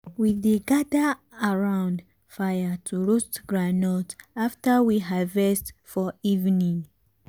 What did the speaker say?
we dey gather around fire to roast groundnut after we harvest for evening.